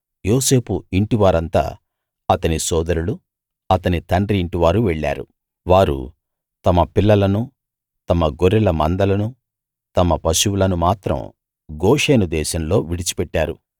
యోసేపు ఇంటివారంతా అతని సోదరులు అతని తండ్రి ఇంటివారు వెళ్ళారు వారు తమ పిల్లలనూ తమ గొర్రెల మందలనూ తమ పశువులనూ మాత్రం గోషెను దేశంలో విడిచిపెట్టారు